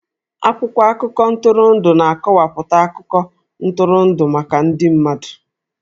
Akwụkwọ akụkọ ntụrụndụ na-akọwapụta akụkọ ntụrụndụ maka ndị mmadụ